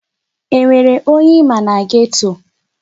Enwere onye ịma na geto?